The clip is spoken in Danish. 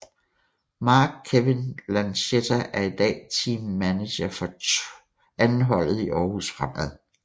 Marc Kewin Lachetta er i dag Team Manager for 2 holdet i Aarhus Fremad